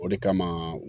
O de kama